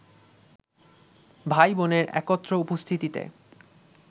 ভাই-বোনের একত্র উপস্থিতিতে